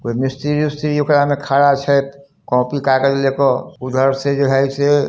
कोई मिस्त्री उस्री ओकरा में खड़ा छै कॉपी कागज ले क उधर से जो है से---